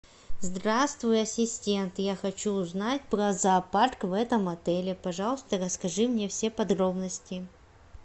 здравствуй ассистент я хочу узнать про зоопарк в этом отеле пожалуйста расскажи мне все подробности